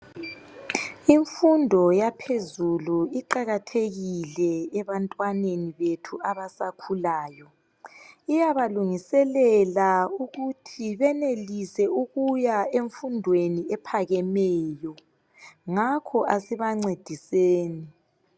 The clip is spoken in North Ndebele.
Imfundo yaphezulu iqakathekile ebantwaneni bethu abasakhulayo, iyabalungiselela ukuthi benelise ukuya emfundweni ephakemeyo ngakho asibancediseni.